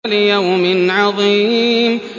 لِيَوْمٍ عَظِيمٍ